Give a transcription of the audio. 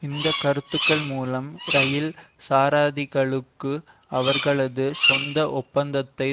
இந்த கருத்துகள் மூலம் இரயில் சாரதிகளுக்கு அவர்களது சொந்த ஒப்பந்தத்தை